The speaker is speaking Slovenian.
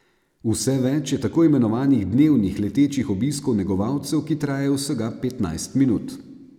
Vse več je tako imenovanih dnevnih letečih obiskov negovalcev, ki trajajo vsega petnajst minut.